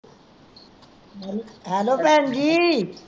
hello ਭੈਣ ਜੀ